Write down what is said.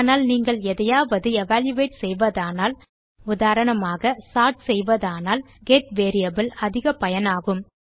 ஆனால் நீங்கள் எதையாவது எவல்யூயேட் செய்வதானால் உதாரணமாக சோர்ட் செய்வதானால் கெட் வேரியபிள் அதிக பயனாகும்